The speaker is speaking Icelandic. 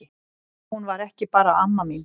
Hún var ekki bara amma mín.